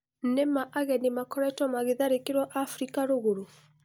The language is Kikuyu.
Nĩmaa ageni makoretwo magĩtharĩkĩrwo Afirika Rũgũrũ.